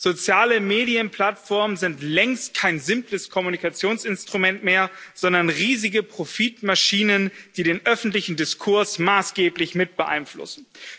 Soziale Medienplattformen sind längst kein simples Kommunikationsinstrument mehr, sondern riesige Profitmaschinen, die den öffentlichen Diskurs maßgeblich mit beeinflussen.